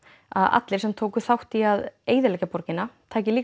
að allir sem tóku þátt í því að eyðileggja borgina taki